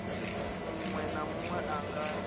munwe na munwe a nga